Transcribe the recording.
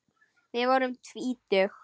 Við vorum tvítug.